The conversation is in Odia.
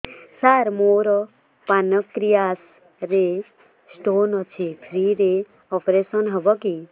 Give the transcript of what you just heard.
ସାର ମୋର ପାନକ୍ରିଆସ ରେ ସ୍ଟୋନ ଅଛି ଫ୍ରି ରେ ଅପେରସନ ହେବ କି